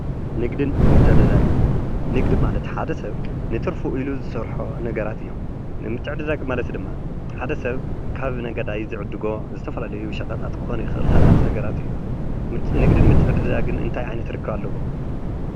ንግድን ምትዕድዳግን ንግዲ ማለት ሓደ ሰብ ንትርፉ ኢሉ ዝሰርሖ ነገራት እዩም። ምትዕድዳግ ማለት ድማ ሓደ ሰብ ካብ ነጋዳይ ዝዕድጎ ዝተፈላለዩ ሸቀጣት ክኾን ይክእል ካልኦት ነገራት እዩ። ንግድን ምትዕድዳግን እንታይ ዓይነት ርክባት ኣለዎም?